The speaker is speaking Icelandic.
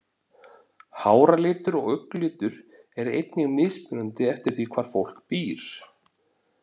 Háralitur og augnalitur er einnig mismunandi eftir því hvar fólk býr.